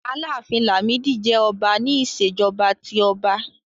Àlàáfín Làmídì jẹ́ ọba ní Ìṣèjọ́ba tí ọba